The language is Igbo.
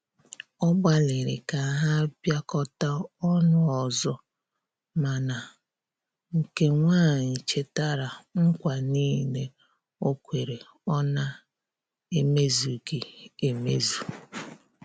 Ọ gbaliri ka ha biakota ọnụ ọzọ, mana nke nwanyi chetara nKwa nile okwere ọ na eme zughi emezụ